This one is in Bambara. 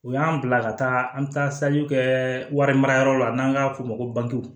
U y'an bila ka taa an taajiw kɛ wari mara yɔrɔ la n'an b'a f'o ma ko